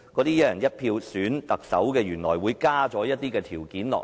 "一人一票"選特首，加入了先篩選的條件。